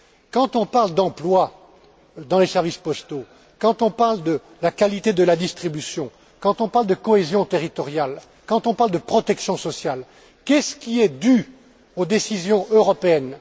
Quand on parle d'emplois dans les services postaux, quand on parle de la qualité de la distribution, quand on parle de cohésion territoriale, quand on parle de protection sociale, qu'est ce qui est dû aux décisions européennes?